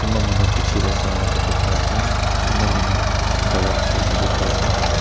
kunba manu piche teh sa laga dikhi pai ase kunba manu khara kura dikhi pai ase.